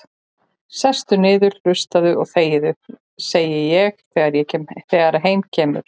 Sestu niður og hlustaðu og þegiðu, segi ég þegar heim kemur.